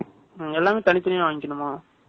எல்லாமே, தனித்தனியா வாங்கிக்கணுமா?